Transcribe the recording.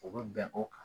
O bɛ bɛn o kan